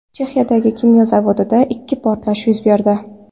Chexiyadagi kimyo zavodida ikki portlash yuz berdi.